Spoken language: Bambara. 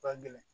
Ka gɛlɛn